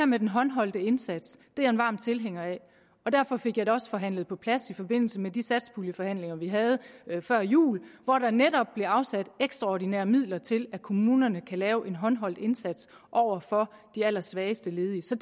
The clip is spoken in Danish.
med den håndholdte indsats er jeg varm tilhænger af og derfor fik jeg det også forhandlet på plads i forbindelse med de satspuljeforhandlinger vi havde før jul hvor der netop blev afsat ekstraordinære midler til at kommunerne kan lave en håndholdt indsats over for de allersvageste ledige så